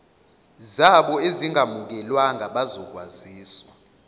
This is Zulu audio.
zabo ezingamukelwanga bazokwaziswa